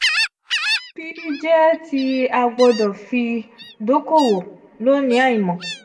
p jẹ ti a gbọdọ fi dokowo lonii aimọ